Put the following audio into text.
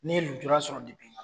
Ni ye lujura sɔrɔ ma